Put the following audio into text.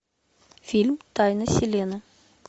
фильм тайна селены